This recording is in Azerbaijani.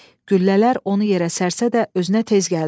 Güllələr onu yerə sərsə də özünə tez gəldi.